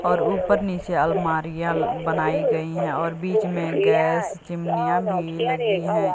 और ऊपर नीचे अलमारियां बनाई गई है और बीच में गैस चिमनियां भी लगी हैं।